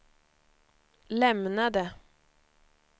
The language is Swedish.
lämnade